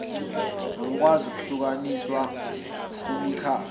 engakwazi ukuhlukaniswa kumikhakha